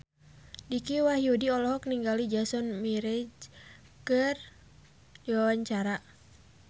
Dicky Wahyudi olohok ningali Jason Mraz keur diwawancara